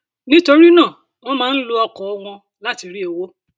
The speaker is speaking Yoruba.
nítorí náà wọn máa ń lo ọkọ wọn láti rí owó